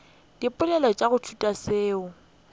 dipoelo tša go ithuta tšeo